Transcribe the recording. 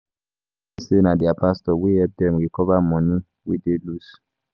I hear say na their pastor wey help dem recover money wey dey lose.